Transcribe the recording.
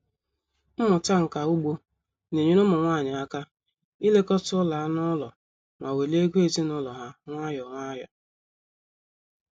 Mmụta nka ugbo na-enyere ụmụ nwanyị aka ilekọta ụlọ anụ ụlọ ma welie ego ezinụlọ ha nwayọọ nwayọọ